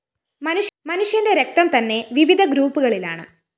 മനുഷ്യന്റെ രക്തംതന്നെ വിവിധ ഗ്രൂപ്പുകളിലാണ്